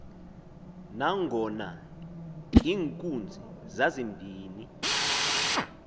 nangona iinkunzi zazimbini